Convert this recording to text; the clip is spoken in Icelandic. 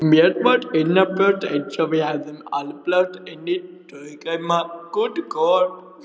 Mér var innanbrjósts einsog við hefðum álpast inní draugheima.